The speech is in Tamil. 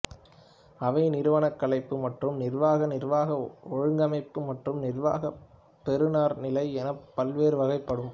அவை நிறுவனக் கலைப்பு மற்றும் நிர்வாகம் நிர்வாக ஒழுங்கமைப்பு மற்றும் நிர்வாக பெறுநர்நிலை எனப் பல்வேறு வகைப்படும்